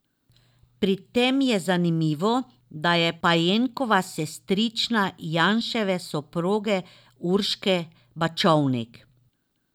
Pri tem je zanimivo, da je Pajenkova sestrična Janševe soproge Urške Bačovnik.